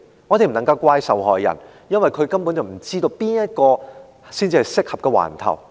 我們不能怪責受害人，因為他根本不知道哪個警區才是適當的警區。